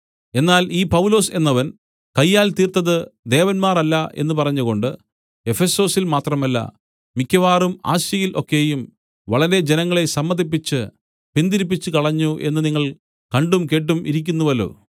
എന്നാൽ ഈ പൗലൊസ് എന്നവൻ കയ്യാൽ തീർത്തത് ദേവന്മാർ അല്ല എന്നു പറഞ്ഞുകൊണ്ട് എഫെസൊസിൽ മാത്രമല്ല മിക്കവാറും ആസ്യയിൽ ഒക്കെയും വളരെ ജനങ്ങളെ സമ്മതിപ്പിച്ച് പിൻതിരിപ്പിച്ചുകളഞ്ഞു എന്ന് നിങ്ങൾ കണ്ടും കേട്ടും ഇരിക്കുന്നുവല്ലോ